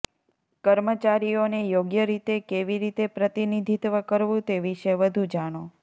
કર્મચારીઓને યોગ્ય રીતે કેવી રીતે પ્રતિનિધિત્વ કરવું તે વિશે વધુ જાણો